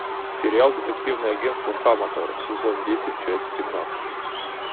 сериал детективное агентство хаматора сезон десять часть семнадцать